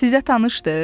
Sizə tanışdır?